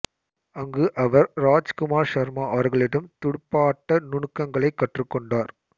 அங்கு அவர் ராஜ்குமார் சர்மா அவர்களிடம் துடுப்பாட்ட நுனுக்கங்களை கற்றுக்கொண்டார்